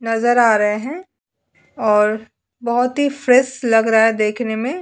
नजर आ रहे हैं और बहुत ही फ्रेश लग रहा है देखने में --